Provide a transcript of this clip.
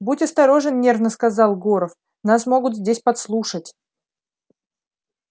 будь осторожен нервно сказал горов нас могут здесь подслушать